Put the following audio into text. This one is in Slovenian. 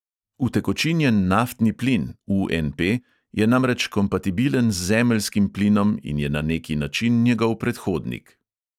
Utekočinjen naftni plin je namreč kompatibilen z zemeljskim plinom in je na neki način njegov predhodnik.